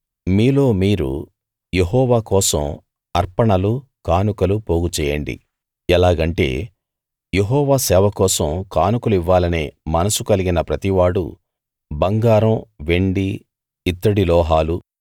మీలో మీరు యెహోవా కోసం అర్పణలు కానుకలు పోగుచేయండి ఎలాగంటే యెహోవా సేవ కోసం కానుకలు ఇవ్వాలనే మనసు కలిగిన ప్రతివాడూ బంగారం వెండి ఇత్తడి లోహాలు